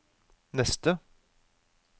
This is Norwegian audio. neste